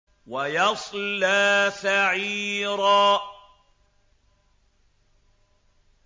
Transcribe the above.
وَيَصْلَىٰ سَعِيرًا